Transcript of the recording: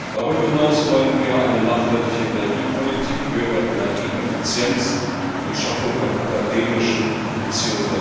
Darüber hinaus wollen wir eine nachhaltige Energiepolitik, höhere Energieeffizienz und die Schaffung von akademischen bzw.